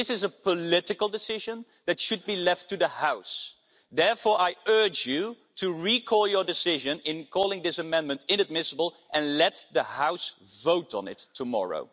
This is a political decision which should be left to the House. Therefore, I urge you to recall your decision in calling this amendment inadmissible and let the House vote on it tomorrow.